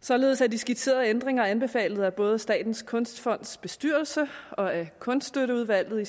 således er de skitserede ændringer anbefalet af både statens kunstfonds bestyrelse og af kunststøtteudvalget i